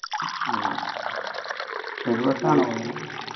ഓ ഒരു bus ലാണോ പോയെ